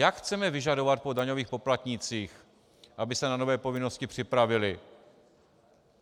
Jak chceme vyžadovat po daňových poplatnících, aby se na nové povinnosti připravili?